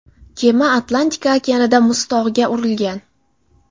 Kema Atlantika okeanida muztog‘ga urilgan.